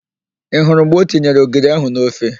Ị hụrụ mgbe o tinyere ogiri ahụ n'ofe?